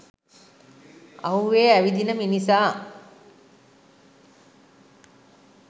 අව්වේ ඇවිදින මිනිසා